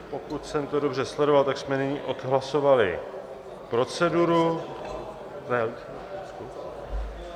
Pokud jsem to dobře sledoval, tak jsme nyní odhlasovali proceduru...